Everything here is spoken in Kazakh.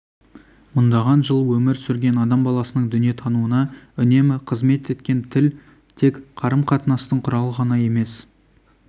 мыңдаған жыл өмір сүрген адам баласының дүниетануына үнемі қызмет еткен тіл тек қарым-қатынастың құралы ғана емес